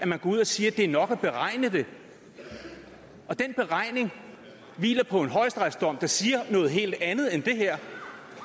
man går ud og siger at det er nok at beregne det og den beregning hviler på en højesteretsdom der siger noget helt andet end det her